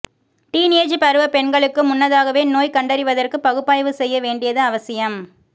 teen age பருவ பெண்களுக்கு முன்னதாகவே நோய் கண்டறிவதற்கு பகுப்பாய்வு செய்ய வேண்டியது அவசியம்